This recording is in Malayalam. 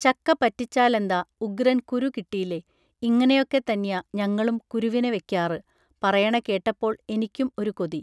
ചക്ക പറ്റിച്ചാലെന്താ ഉഗ്രൻ കുരു കിട്ടീലെ ഇങ്ങനെയൊക്കെ തന്ന്യാ ഞങ്ങളും കുരുവിനെ വയ്ക്കാറ് പറയണ കേട്ടപ്പോൾ എനിക്കും ഒരു കൊതി